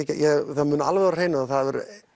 það er alveg á hreinu að